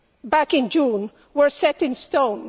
back in June were set in stone.